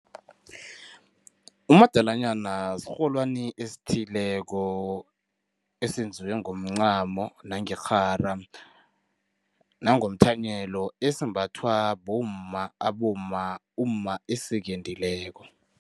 Umadalanyana sirholwani esithileko, esenziwe ngomncamo nangerhara, nangomthanyelo esimbathwa bomma, abomma, umma esekendileko.